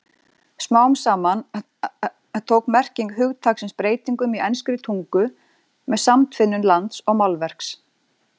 Smám saman tók merking hugtaksins breytingum í enskri tungu með samtvinnun lands og málverks.